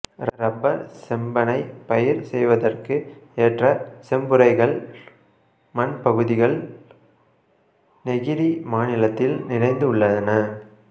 rubber செம்பனை பயிர் செய்வதற்கு ஏற்ற செம்புரைக்கல் மண்பகுதிகள் நெகிரி மாநிலத்தில் நிறைந்து உள்ளன